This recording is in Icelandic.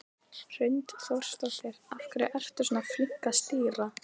Hrund Þórsdóttir: Af hverju ertu svona flink að stýra?